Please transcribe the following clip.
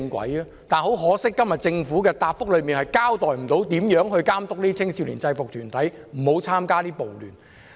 但是，很可惜，政府今天的主體答覆未能交代如何監督這些青少年制服團體不會參加暴亂。